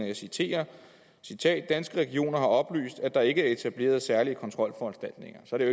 jeg citerer danske regioner har oplyst at der ikke er etableret særlige kontrolforanstaltninger så er